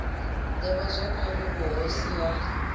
d ivhazwakale ya vhuhosi ha